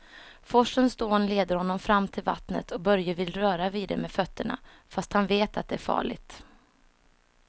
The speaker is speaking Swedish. Forsens dån leder honom fram till vattnet och Börje vill röra vid det med fötterna, fast han vet att det är farligt.